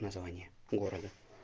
название города